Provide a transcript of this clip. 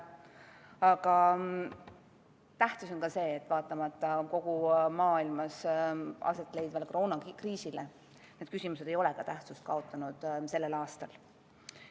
Aga tähtis on ka see, et vaatamata kogu maailmas aset leidvale koroonakriisile, ei ole need küsimused tähtsust kaotanud ka sellel aastal.